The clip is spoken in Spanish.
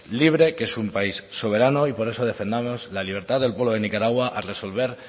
libre que es un país soberano y por eso defendamos la libertad del pueblo de nicaragua al resolver